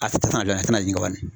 A tɛ taa fan dɔ in a tɛna jigin